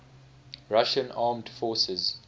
russian armed forces